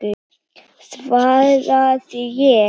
svaraði ég.